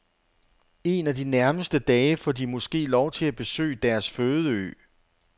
En af de nærmeste dage får de måske lov til at besøge deres fødeø.